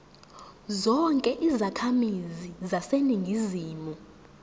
zonke izakhamizi zaseningizimu